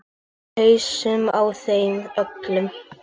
Í hausana á þeim öllum.